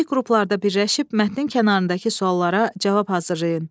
Kiçik qruplarda birləşib mətnin kənarındakı suallara cavab hazırlayın.